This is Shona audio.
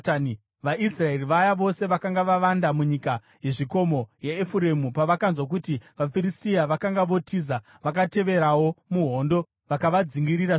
VaIsraeri vaya vose vakanga vavanda munyika yezvikomo yeEfuremu pavakanzwa kuti vaFiristia vakanga votiza, vakateverawo muhondo vakavadzingirira zvikuru.